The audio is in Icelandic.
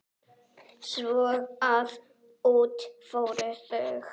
Svo að út fóru þau.